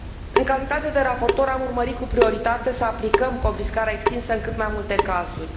În calitate de raportor am urmărit cu prioritate să aplicăm confiscarea extinsă în cât mai multe cazuri.